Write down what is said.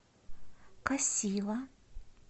касива